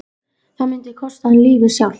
Það myndi kosta hann lífið sjálft!